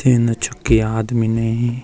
तीन छके आदमी इनेयी।